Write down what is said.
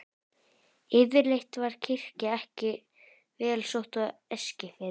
Yfirleitt var kirkja ekki vel sótt á Eskifirði.